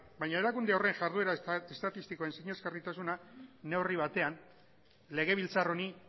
baina erakunde horren jarduera estatistikoen sinesgarritasuna neurri batean legebiltzar honi